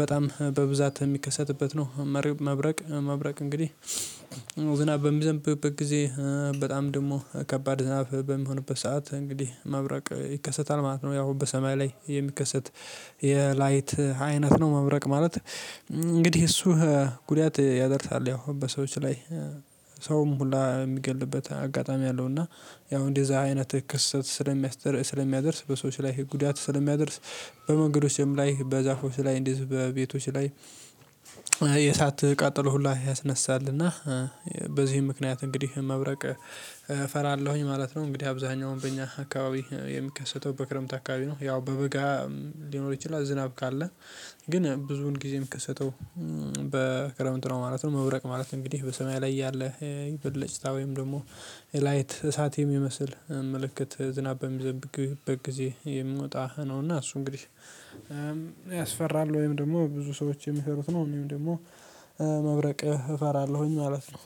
በጣም በብዛት የሚከሰትበት ነው። መብረቅ መብረቅ እንግዲህ ዝናብ በሚዘንብበት ጊዜ በጣም ደግሞ ከባድ ዝናብ በሚሆንበት ሰዓት እንግዲህ መብረቅ ይከሰታል ማለት ነው። ያው በሰማይ ላይ የሚከሰት የላይት አይነት ነው። መብረቅ ማለት እንግዲህ እሱ ጉዳት ያደርሳል ያው በሰዎች ላይ ሰውን ሁላ የሚገልበት አጋጣሚ አለው። እና ያው እንደዛ አይነትህ ክስተት ስለሚያደርስ በሰዎች ላይ ጉዳት ስለሚያደርስ በመንገዶችም ላይ በዛፎች ላይ እንዲህ በቤቶች ላይ። የእሳት ቃጠሎ ሁላ ያስነሳልና በዚህም ምክንያት እንግዲህ መብረቅ እፈራለሁኝ ማለት ነው። እንግዲህ አብዛኛው በእኛ አካባቢ የሚከሰተው በክረምት አካባቢ ነው። ያው በበጋ ሊኖር ይችላል ዝናብ ካለ ግን ብዙውን ጊዜ የምከሰተው በክረምት ነው ማለት ነው። መብረቅ ማለት እንግዲህ በሰማይ ላይ ያለ ብልጭታ ወይም ደግሞ የላይት እሳት የሚመስል ምልክት ዝናብ በሚዘንብበት ጊዜ የሚወጣ ነውና እሱ እንግዲህ ያስፈራል ወይም ደግሞ ብዙ ሰዎች የሚፈሩት ነው። እንድሁም ደግሞ መብረቅህ እፈራለሁኝ ማለት ነው።